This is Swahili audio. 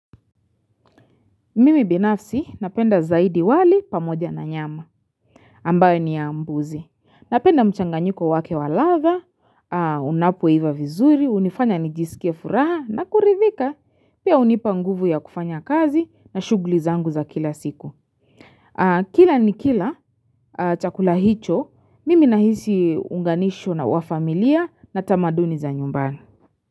Mimi binafsi napenda zaidi wali pamoja na nyama. Ambao ni ya mbuzi. Napenda mchanganyiko wake wa ladha, unapoiva vizuri, hunifanya nijisikie furaha na kuridhika. Pia hunipa nguvu ya kufanya kazi na shughuli zangu za kila siku. Kila nikila chakula hicho, mimi nahisi unganisho na wafamilia na tamaduni za nyumbani.